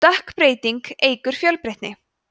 stökkbreyting eykur fjölbreytni